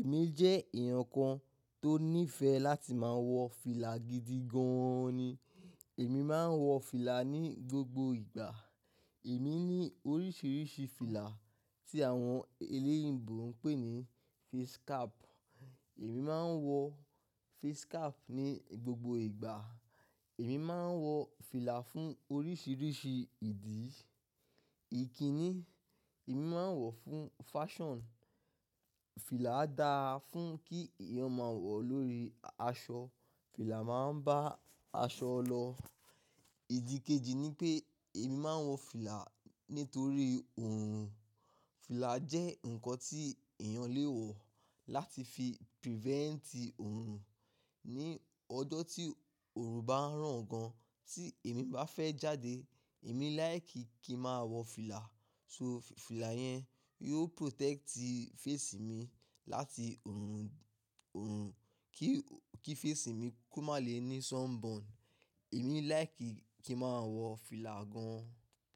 èmi jẹ́ èèyàn kan tó nífẹ̀ẹ́ láti máa wọ fìlà gidi gan ni. Èmi máa ń wọ fìlà ní gbogbo ìgbà. Èmi ní oríṣiríṣi fìlà tí àwọn eléyìígbò ń pè ní face cap. Èmi máa ń wọ face cap ní gbogbo ìgbà. Èmi máa ń wọ fìlà fún oríṣiríṣi ìdí. Ìkíni, èmi máa ń wọ̀ fún fashion. Fìlà dáa fún kí èèyàn máa wọ̀ lórí aṣọ. Fìlà máa ń bá aṣọ lọ. Ìdí kejì ni pé èmi máa ń wọ fìlà nítorí òòrùn. Fìlà jẹ́ nǹkan tí èèyàn lè wọ̀ láti fi preventi òòrùn. Ni ọjọ́ tí òòrùn bá ràn gan, tí èmi bá fẹ́ jáde, èmi láìkíi kí máa wọ fìlà. So, fìlà yẹn yóò protecti face mi láti òòrùn, kí face mi kó má lè ní sunburn. Èmi láìkíi kí máa wọ fìlà gan.